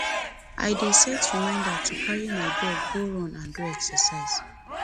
i dey set reminder to carry my dog go run and do exercise